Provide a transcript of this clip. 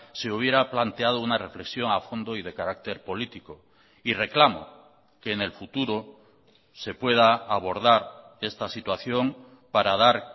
se hubiera planteado una reflexión a fondo y de carácter político y reclamo que en el futuro se pueda abordar esta situación para dar